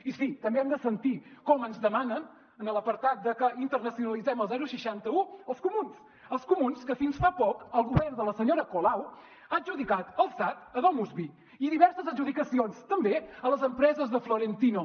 i sí també hem de sentir com ens demanen en l’apartat de que internacionalitzem el seixanta un els comuns els comuns que fins fa poc el govern de la senyora colau ha adjudicat el sad a domusvi i diverses adjudicacions també a les empreses de florentino